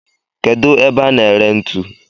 Kedu ebe a na ere ntu?